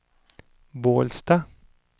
Bålsta